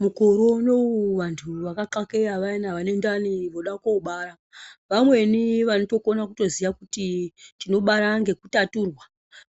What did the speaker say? Mukore unowu vantu vakaxakeya vayana vane ndani voda kobara, vamweni vanotokona kutoziya kuti tinobara ngekutaturwa,